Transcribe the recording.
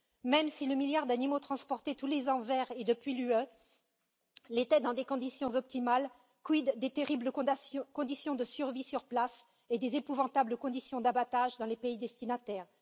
Même si le milliard d'animaux transportés tous les ans vers et depuis l'Union l'était dans des conditions optimales, quid des terribles conditions de survie sur place et des épouvantables conditions d'abattage dans les pays destinataires?